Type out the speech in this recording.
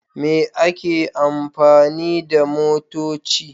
Me ake amfani da motoci?